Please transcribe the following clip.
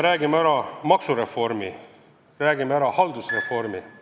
Räägime maksureformist, räägime haldusreformist ...